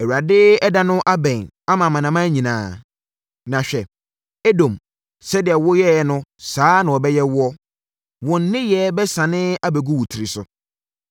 “ Awurade ɛda no abɛn ama amanaman nyinaa. Na hwɛ, Edom sɛdeɛ woyɛeɛ no saa ara na wɔbɛyɛ woɔ. Wo nneyɛeɛ bɛsane abɛgu wo tiriso.